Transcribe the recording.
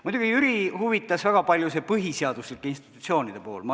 Muidugi huvitas Jüri väga palju see põhiseaduslike institutsioonide pool.